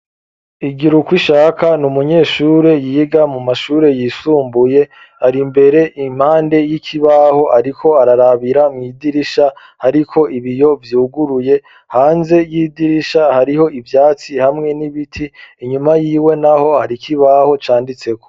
Igirukwishaka n'umunyeshure yiga mu mashure yisumbuye ,ari mbere impande y'ikibaho ariko ararabira mw'idirisha hariko ibiyo vyuguruye, hanze y'idirisha hariho ivyatsi hamwe n'ibiti, inyuma yiwe naho hari kibaho canditseho.